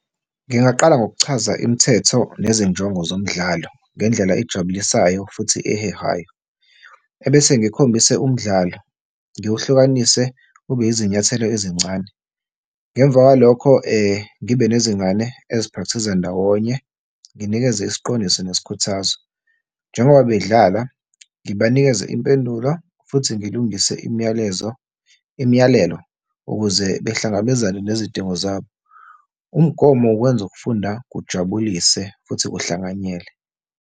Ngingaqala ngokuchaza imithetho nezinjongo zomdlalo ngendlela ejabulisayo futhi ehehayo. Ebese ngikhombise umdlalo, ngiwuhlukanise ube izinyathelo ezincane. Ngemva kwalokho, ngibe nezingane eziphrakthiza ndawonye, nginikeze isiqondiso nesikhuthazo. Njengoba bedlala, ngibanikeze impendulo futhi ngilungise imiyalezo, imiyalelo ukuze behlangabezane nezidingo zabo. Umgomo wenza ukufunda kujabulise futhi kuhlanganyelwe.